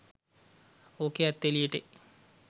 ඔකේ ඇත්ත එලියට එයි